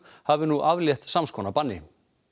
hafi nú aflétt sams konar banni